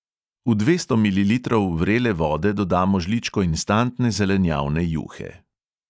V dvesto mililitrov vrele vode dodamo žličko instantne zelenjavne juhe.